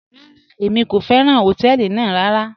Rárá, èmi kò fẹ́ràn họ̀tẹ̀ẹlì ná rárá..